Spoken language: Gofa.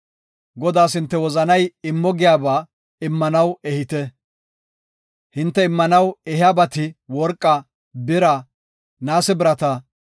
Godaas hinte wozanay immo giyaba immanaw ehite. Hinte immanaw ehiyabati worqaa, bira, naase birata,